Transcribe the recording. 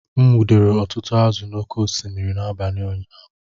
M nwudere ọtụtụ azụ̀ n’oké osimiri n’abalị ụnyaahụ